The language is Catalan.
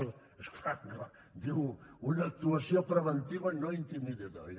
és clar diu una actuació preventiva no intimidatòria